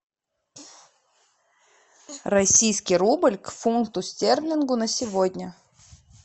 российский рубль к фунту стерлингу на сегодня